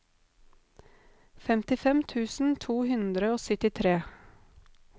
femtifem tusen to hundre og syttitre